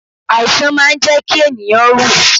Àìsàn máa ń jẹ́ kí ènìyàn rú ù.